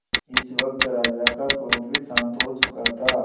इस वक्त राजा का क्रोध भी शांत हो चुका था